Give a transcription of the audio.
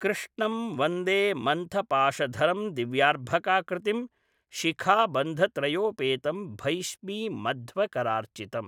कृष्णं वन्दे मन्तपाशधरं दिव्यार्भाकाकृतिम्। शिखाबन्धत्रयोपेतं भैष्मीमध्वकरार्चितम्।